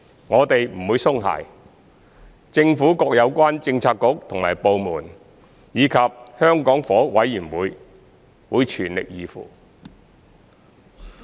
我們不會鬆懈，政府各有關政策局和部門，以及香港房屋委員會會全力以赴。